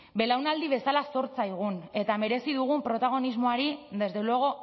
belaunaldi bezala zor zaigun eta merezi dugun protagonismoari desde luego